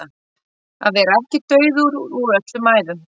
Að vera ekki dauður úr öllum æðum